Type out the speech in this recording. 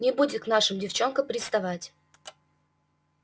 не будет к нашим девчонкам приставать